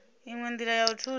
inwe ndila ya u thusa